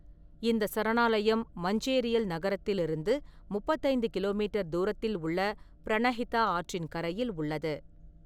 இந்த சரணாலயம் மஞ்சேரியல் நகரத்திலிருந்து முப்பத்தைந்து கிலோ மீட்டர் தூரத்தில் உள்ள பிரணஹிதா ஆற்றின் கரையில் உள்ளது.